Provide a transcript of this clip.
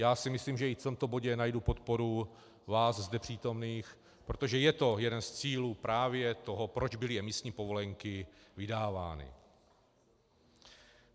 Já si myslím, že i v tomto bodě najdu podporu vás zde přítomných, protože je to jeden z cílů právě toho, proč byly emisní povolenky vydávány.